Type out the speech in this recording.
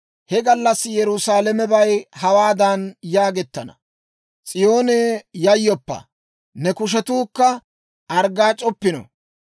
He gallassi Yerusaalamebay hawaadan yaagettana; «S'iyoonee, yayyoppa! Ne kushetuukka arggaac'oppino.